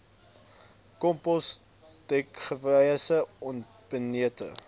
kompos dekgewasse onbenutte